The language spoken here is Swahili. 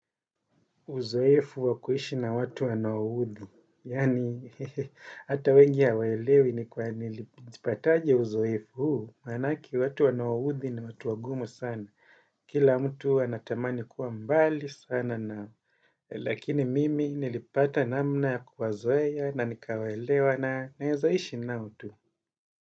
Uzoefu wa kuishi na watu wanaoudhi, yaani hata wengi hawaelewi ni kwa nilipataje uzoefu huu, manake watu wanaoudhi ni watu wagumu sana. Kila mtu anatamani kuwa mbali sana nao, lakini mimi nilipata namna ya kuwazoea na nikawaelewa na naezaishi nao tu.